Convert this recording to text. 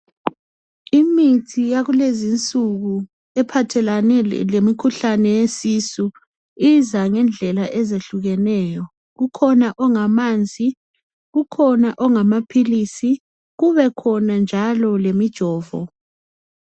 Imithi yakulezi insuku ephathelane lemikhuhlane yesisu iza ngendlela ezehlukeneyo kukhona ongamanzi kukhona ongamaphilisi kubekhona njalo lemijovo.